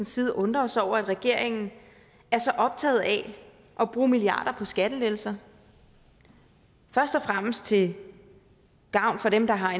side undrer os over at regeringen er så optaget af at bruge milliarder på skattelettelser først og fremmest til gavn for dem der har